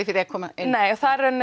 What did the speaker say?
því að koma inn nei það er í raun